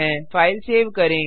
file save करें